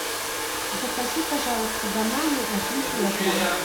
закажи пожалуйста бананы один килограмм